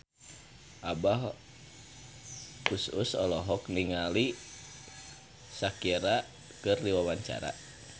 Abah Us Us olohok ningali Shakira keur diwawancara